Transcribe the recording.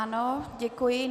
Ano, děkuji.